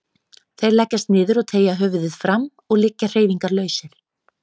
Þeir leggjast niður og teygja höfuðið fram og liggja hreyfingarlausir.